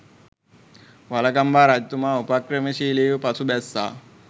වළගම්බා රජතුමා උපක්‍රමශීලීව පසු බැස්සා.